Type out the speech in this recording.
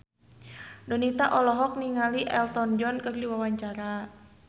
Donita olohok ningali Elton John keur diwawancara